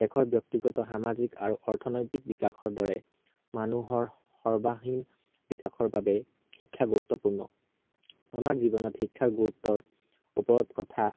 দেশৰ ব্য়ক্তিগত সামাজিক আৰু অৰ্থনৈতিক বিকাশৰ দৰে, মানুহৰ সৰ্বাংগীন বিকাশৰ বাবে, শিক্ষা গুৰুত্বপূৰ্ণ। আমাৰ জীৱনত শিক্ষাৰ গুৰুত্ব ওপৰত কথা